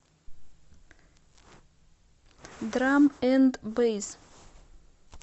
драм энд бэйс